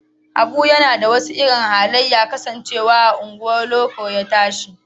Habu yana da wasu irin halaye kasancewar a unguwar loko ya tashi